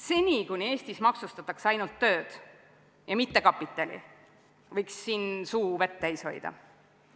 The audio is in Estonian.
Seni, kuni Eestis maksustatakse ainult tööd ja mitte kapitali, võiks suu vett täis hoida.